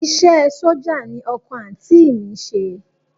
Iṣẹ́ ẹ sójà ni ọkọ àǹtí mi ń ṣe